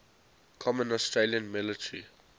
common australian military